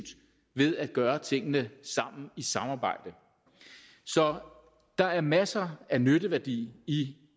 ved at gøre tingene i samarbejde så der er masser af nytteværdi i